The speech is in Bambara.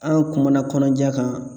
An kumana kɔnɔja kan.